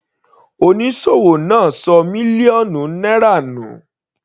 Onísòwò náà ṣọ mílíọ̀nù náírà nù.